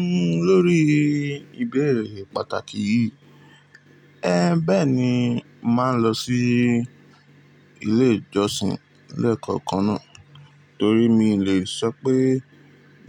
N lórí ìbéèrè pàtàkì yìí, ẹ́ bẹ́ẹ̀ ni mo máa ń lọ sí ilé ìjọsìn lékokàn náà torí mi le sọ pé